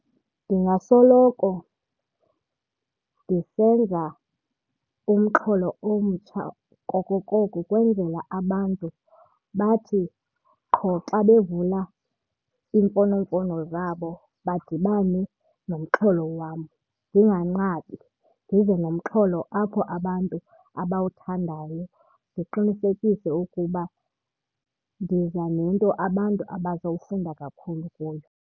Ndingasoloko ndisenza umxholo omtsha koko koko kwenzela abantu bathi qho xa bevula iimfonomfono zabo badibane nomxholo wam, ndinganqabi. Ndize nomxholo apho abantu abawuthandayo, ndiqinisekise ukuba ndiza nento abantu abazowufunda kakhulu kuyo.